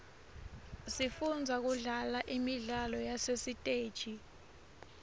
sifundza kudlala imidlalo yasesiteji